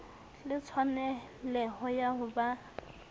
le tshwaneleho ya ho ba